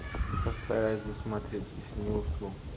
постараюсь досмотреть если не усну